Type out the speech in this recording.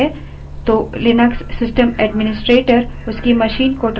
यह log files Linux में आमतौर पर इस्तेमाल होती है